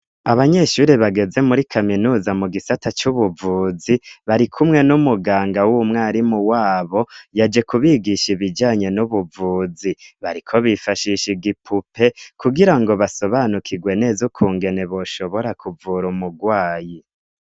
abanyeshuri bageze muri kaminuza mu gisata c'ubuvuzi bari kumwe n'umuganga w'umwarimu wabo yaje kubigisha ibijanye n'ubuvuzi bariko bifashisha igipupe kugira ngo basobanukigwe neza ukungene boshobora kuvura umugwayi